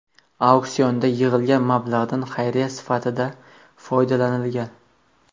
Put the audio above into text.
Auksionda yig‘ilgan mablag‘dan xayriya sifatida foydalanilgan.